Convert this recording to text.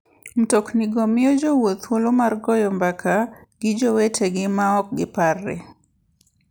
Mtoknigo miyo jowuoth thuolo mar goyo mbaka gi jowetegi maok giparre.